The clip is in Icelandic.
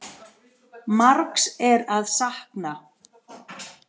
Margs er að sakna.